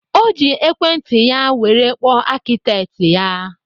O ji Ekwenti ya were kpọọ akịtekị ya